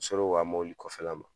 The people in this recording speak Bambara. N ser'o ka mɔbili kɔfɛla ma